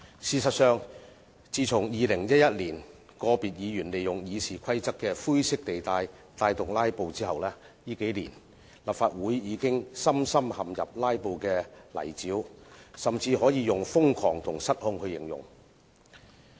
事實上，自從2011年個別議員利用《議事規則》的灰色地帶發動"拉布"後，立法會近年已深深陷入"拉布"的泥沼，甚至可以用瘋狂和失控來形容。